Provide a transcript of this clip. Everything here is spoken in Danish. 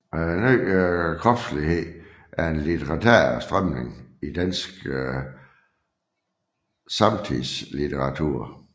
Ny kropslighed er en litterær strømning i dansk samtidslitteratur